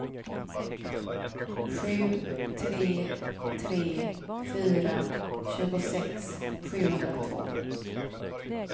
sju tre tre fyra tjugosex sjuhundratvå